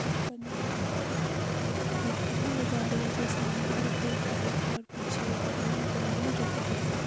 धूप पड़ने की वजह से गाड़ियों के ऊपर बहुत ज़्यादा धूप पड़ी है गाड़ियां जो हैं सामने की तरफ एक वाइट है और पीछे एक लौरी नजर आ रहा है जो कि थोड़ी सी--